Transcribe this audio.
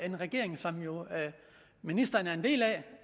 en regering som ministeren er en del